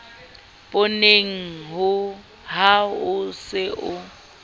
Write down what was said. pooneng ha o se o